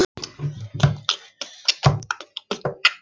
Þú ættir að prófa sjálfur, sagði